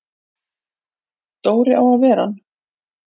Dóri á að vera hann!